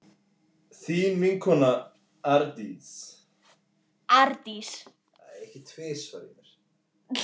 Þín vinkona Arndís.